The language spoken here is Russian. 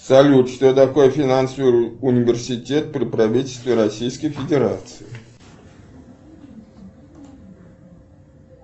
салют что такое финансовый университет при правительстве российской федерации